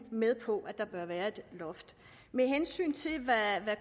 med på at der bør være et loft med hensyn til hvad